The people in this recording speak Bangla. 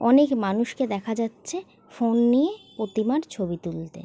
অনেক মানুষকে দেখা যাচ্ছে ফোন নিয়ে প্রতিমার ছবি তুলতে।